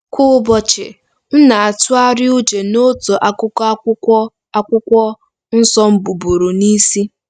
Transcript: Kwa ụbọchị, m na-atụgharị uche n'otu akụkụ Akwụkwọ Akwụkwọ Nsọ m buburu n'isi.